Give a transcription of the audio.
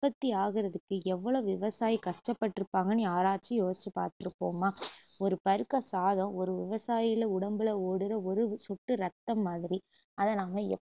உற்பத்தி ஆகுறதுக்கு எவ்ளோலோ விவாசாயி கஷ்டபட்டுருப்பாங்கன்னு யாராச்சும் யோசிச்சு பாத்துருப்போமா ஒரு பருக்க சாதம் ஒரு விவசாயில உடம்புல ஊடுற ஒரு சொட்டு ரத்தம் மாதிரி அதை நாம ய~